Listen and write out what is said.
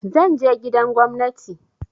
Zan je gidan gwamnati.